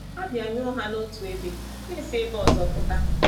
A bịanyụọ ha n’otu ebe, ha esi n’ebe ọzọ pụta.